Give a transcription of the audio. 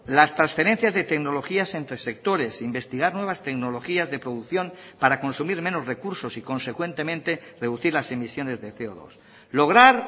las transferencias de tecnologías entre sectores investigar nuevas tecnologías de producción para consumir menos recursos y consecuentemente reducir las emisiones de ce o dos lograr